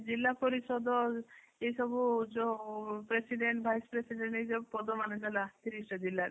ଜିଲ୍ଲାପରିଷଦ ଏ ସବୁ ଯୋଉ president vice president ଏଇ ସବୁ ପଦ ମାନେ ହେଲା ତିରିଶଟା ଜିଲ୍ଲା ରେ